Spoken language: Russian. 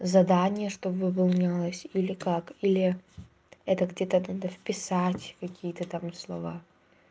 задание чтобы выполнялось или как или это где-то надо вписать какие-то там слова